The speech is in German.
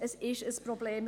Das ist ein Problem.